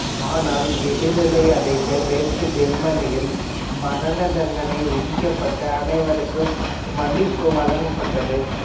ஆனால் விடுதலை அடைந்த மேற்கு ஜெர்மனியில் மரணதண்டனை விதிக்கப்பட்ட அனைவருக்கும் மன்னிப்பு வழங்கப்பட்டது